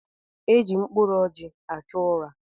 Eji mkpụrụ ọjị achụ ụra.